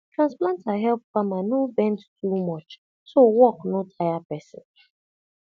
transplanter help farmer no bend too much so work no tire person